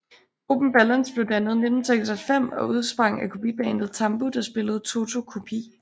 Gruppen Balance blev dannet i 1996 og udsprang af kopibandet TAMBU der spillede Toto kopi